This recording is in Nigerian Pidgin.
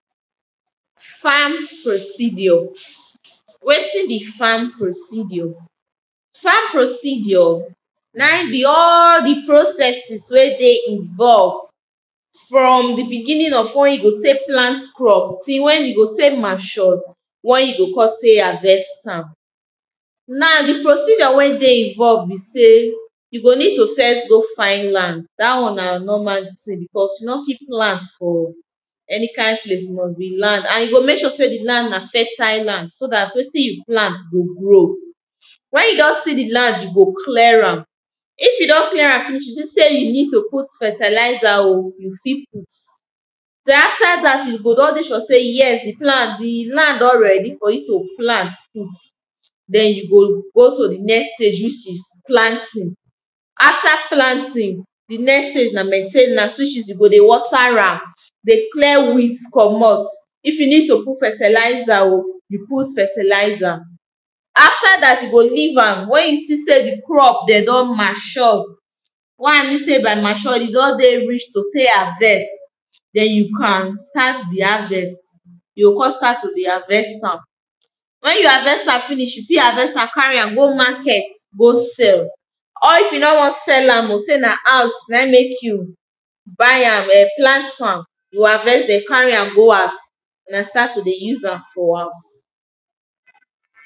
farm proceedure. wetin be farm proceedure? farm proceedure na im be all di processes wey dey involve from di begining of wen you go tek plant crop till wen e go tek mature wen you go kon tek harvest am. now di proceedure wey dey involve say you go need to first go find land dat wan na normal tin becous, you no fit plant for any kind place must be land and you mek sure say di land na fertile land so dat wetin you plant go grow. wen you don see di land, you go clear am if you don clear am finish see say you need to put fertilizer oh, you put. den after dat you go don dey sure sey di land don ready for you to plant put. den you go go to di next stage which is planting. after planting, di next stage na maintainance which is you go dey water am, dey clear weeds commot. if you need to put fertilizer oh you put fertilizer. after that you go leave am wen you see say di crop de don mature, why i mean sey by mature e don dey reach to tek harvest den you can start di harvest you o kon start to dey harvest am. when you harvest am finish, you fit harvest am carry am go market go sell. or if you no won sell am sey na house na in mek you buy am eh, plant am, you harvest den carry am go haus den start to dey se am for house.